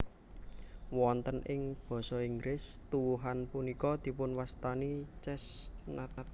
Wonten ing Basa Inggris tuwuhan punika dipunwastani chestnut